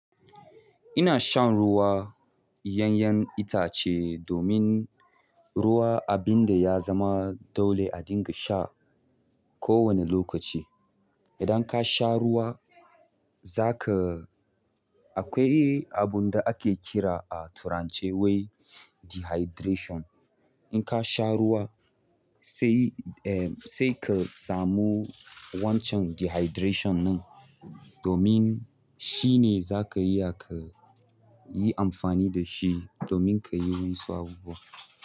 Ina shan ruwa yanyan itace domin ruwa abin da ya zama dole a dinga sha kowane lokaci. Idan ka sha ruwa, za ka akwai abin da ake kira a turance wai dehydration. In ka sha ruwa, sai, eh, sai ka samu wancan dehydration ɗin, domin shi ne za ka iya to, yi amfani da shi domin ka yi wani so abubuwa.